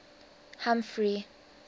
humphrey